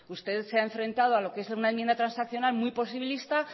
usted se ha enfrentado a lo que es una enmienda transaccional muy posibilista